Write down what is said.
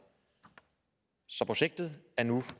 så projektet er nu